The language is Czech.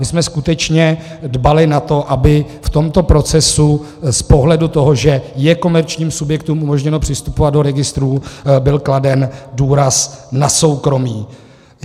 My jsme skutečně dbali na to, aby v tomto procesu z pohledu toho, že je komerčním subjektům umožněno přistupovat do registrů, byl kladen důraz na soukromí.